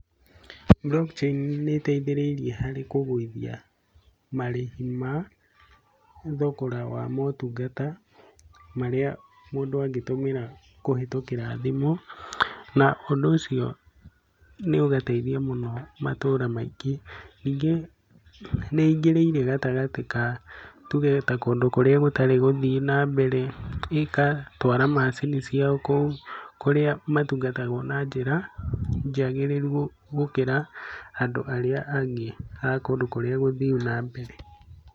Blockchain nĩ iteithĩrĩirie harĩ kũgũithia marĩhi ma thogora wa motungata marĩa mũndũ angĩtũmĩra kũhitũkira thimũ, na ũndũ ũcio nĩ ũgateithia mũno matũra maingĩ. Ningĩ nĩ ingĩrĩire gatagatĩ ka tuge ta kũrĩa gũtarĩ gũthiu na mbere, ĩka twara macini ciao kũu, kũrĩa matungatagwo na njĩra njagĩrĩru gũkĩra andũ arĩa angĩ a kũndũ kũrĩa gũthiu na mbere.